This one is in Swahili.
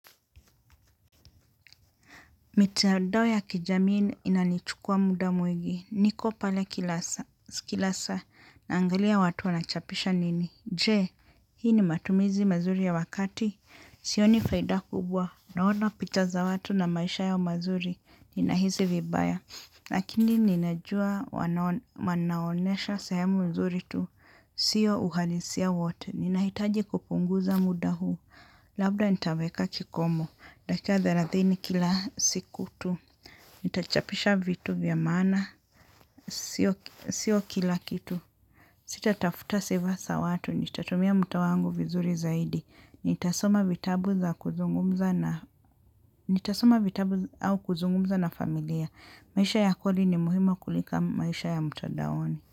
Mitandao ya kijamii inanichukua muda mwingi. Niko pale kilasaa na angalia watu wanachapisha nini. Je, hii ni matumizi mazuri ya wakati. Sioni faida kubwa. Naona picha za watu na maisha yao mazuri. Nina hisi vibaya. Lakini ninajua wanaonesha sehemu nzuri tu. Sio uhalisia wote. Nina hitaji kupunguza muda huu. Labda nitaweka kikomo. Dakika thelathini. Nita chapisha vitu vyamaana, sio kila kitu. Sita tafuta seva za watu, nita tumia mutawangu vizuri zaidi. Nitasoma vitabu zau kuzungumza na familia. Maisha ya koli ni muhimu kuliko maisha ya mutadaoni.